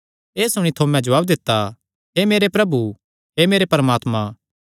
एह़ सुणी थोमे जवाब दित्ता हे मेरे प्रभु हे मेरे परमात्मा